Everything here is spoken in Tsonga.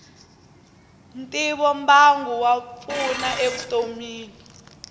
ntivombangu wa pfuna e vutomini